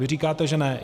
Vy říkáte, že ne.